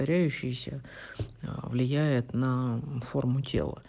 греющийся влияет на форму